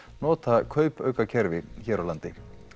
nota kaupaukakerfi hér á landi